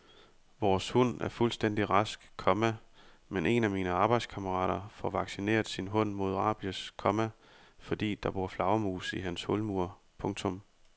Vores hund er fuldstændig rask, komma men en af mine arbejdskammerater får vaccineret sin hund mod rabies, komma fordi der bor flagermus i hans hulmur. punktum